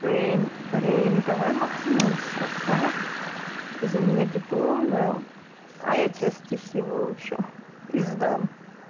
рэйн рэйн давай поменяемся а ты за меня дипломную а я тебе стихи выучу и сдам